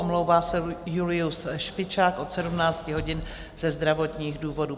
Omlouvá se Julius Špičák od 17 hodin ze zdravotních důvodů.